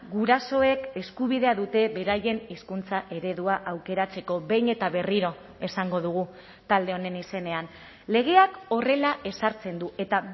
gurasoek eskubidea dute beraien hizkuntza eredua aukeratzeko behin eta berriro esango dugu talde honen izenean legeak horrela ezartzen du eta